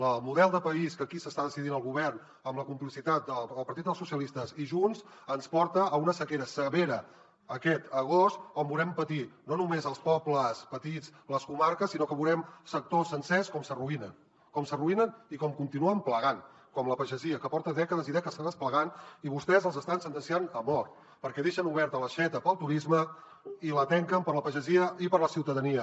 el model de país que aquí està decidint el govern amb la complicitat del partit dels socialistes i junts ens porta a una sequera severa aquest agost on veurem patir no només els pobles petits les comarques sinó que veurem sectors sencers com s’arruïnen com s’arruïnen i com continuen plegant com la pagesia que porta dècades i dècades plegant i vostès els estan sentenciant a mort perquè deixen oberta l’aixeta per al turisme i la tanquen per a la pagesia i per a la ciutadania